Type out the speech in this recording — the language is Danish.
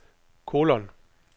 kolon